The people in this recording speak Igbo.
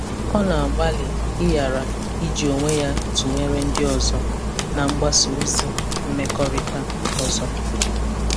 Ọ na-agbalị ịghara iji onwe ya tụnyere ndị ọzọ na mgbasa ozi mmekọrịta ọzọ.